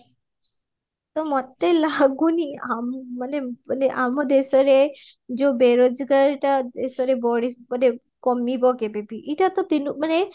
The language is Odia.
ତ ମତେ ଲାଗୁନି ଆମ ମାନେ ମାନେ ଆମ ଦେଶରେ ଯୋଉ ବେରୋଜଗାରଟା ଦେଶରେ ବଢି ମାନେ କମିବା କେବେ ବି ଏଇଟା ତ ଦିନ ମାନେ